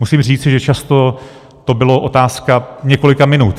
Musím říci, že často to byla otázka několika minut.